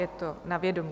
Je to na vědomí.